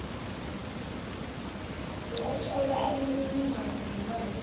lokuthola imininingwana yelwazi